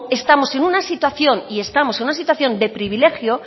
estamos en una situación y estamos en una situación de privilegio